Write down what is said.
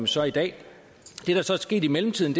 så i dag det der så er sket i mellemtiden